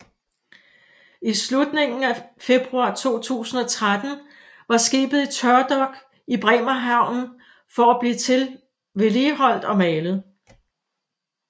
I slutningen af februar 2013 var skibet i tørdok i Bremerhaven for at blive vedligeholdt og malet